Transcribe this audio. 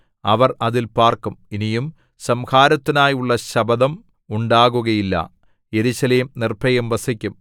അവർ അതിൽ പാർക്കും ഇനിയും സംഹാരത്തിനായുള്ള ശപഥം ഉണ്ടാകുകയില്ല യെരൂശലേം നിർഭയം വസിക്കും